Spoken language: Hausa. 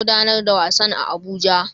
Za a gudanar da wasan a Abuja